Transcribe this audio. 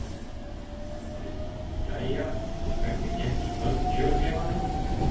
Linda: Jæja, hvernig gekk í kjörklefanum?